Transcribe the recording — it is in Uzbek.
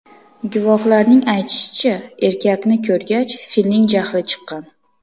Guvohlarning aytishicha, erkakni ko‘rgach, filning jahli chiqqan.